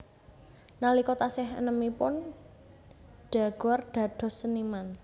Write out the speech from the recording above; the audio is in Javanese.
Nalika taksih enèmipun Daguerre dados seniman